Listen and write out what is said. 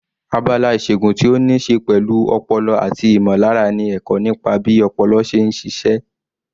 Abala ìṣègun tí ó ní í ṣe pẹ̀lú ọpọlọ àti ìmọ̀lára ni ẹ̀kọ́ nípa bí ọpọlọ ṣe ń ṣiṣẹ́.